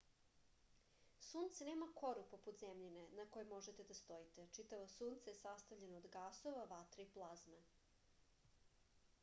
sunce nema koru poput zemljine na kojoj možete da stojite čitavo sunce je sastavljeno od gasova vatre i plazme